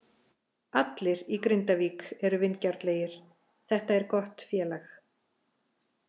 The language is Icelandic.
Allir í Grindavík eru vingjarnlegir, þetta er gott félag.